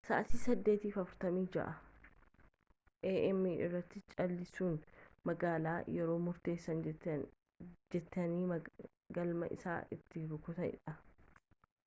sa'aatii 8:46 a.m. irratti cal'isuun magaalaa yeroo murteessaa jeetiin galma isaa itti rukuteedha